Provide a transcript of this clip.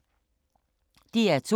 DR2